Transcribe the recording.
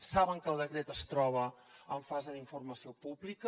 saben que el decret es troba en fase d’informació pública